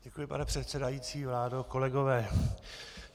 Děkuji, pane předsedající, vládo, kolegové.